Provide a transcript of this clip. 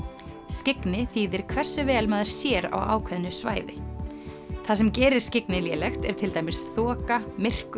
skyggni þýðir hversu vel maður sér á ákveðnu svæði það sem gerir skyggni lélegt er til dæmis þoka myrkur